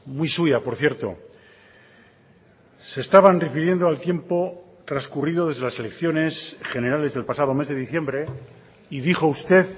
muy suya por cierto se estaban refiriendo al tiempo transcurrido desde las elecciones generales del pasado mes de diciembre y dijo usted